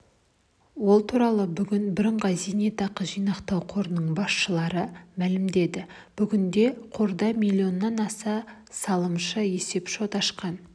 ол туралы бүгін бірыңғай зейнетақы жинақтау қорының басшылары мәлімдеді бүгінде қорда миллионнан аса салымшы есепшот ашқан